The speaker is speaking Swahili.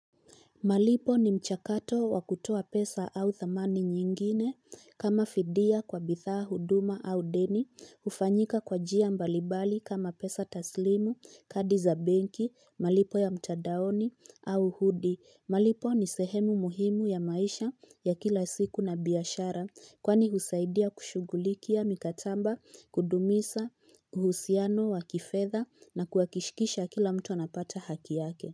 Malipo ni mchakato wakutoa pesa au dhamani nyingine kama fidia kwa bidhaa, huduma au deni, hufanyika kwa jia mbalimbali kama pesa taslimu, kadi za benki, malipo ya mtandaoni au hudi. Malipo ni sehemu muhimu ya maisha ya kila siku na biashara kwani husaidia kushughulikia mikataba kudumisha uhusiano wa kifedha na kuhakikisha kila mtu anapata haki yake.